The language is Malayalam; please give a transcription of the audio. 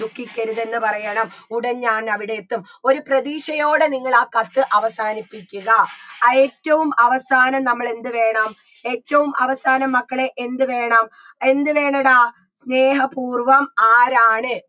ദുഃഖിക്കരുതെന്ന് പറയണം ഉടൻ ഞാൻ അവിടെയെത്തും ഒരു പ്രതീക്ഷയോടെ നിങ്ങൾ ആ കത്ത് അവസാനിപ്പിക്കുക ഏറ്റവും അവസാനം നമ്മളെന്ത് വേണം ഏറ്റവും അവസാനം മക്കളേ എന്ത് വേണം എന്ത് വേണെടാ സ്നേഹപൂർവ്വം ആരാണ്